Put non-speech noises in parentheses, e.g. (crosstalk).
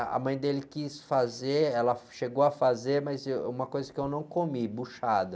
Ah, a mãe dele quis fazer, ela chegou a fazer, mas, (unintelligible) uma coisa que eu não comi, buchada.